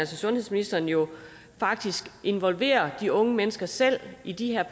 sundhedsministeren jo faktisk involverer de unge mennesker selv i de her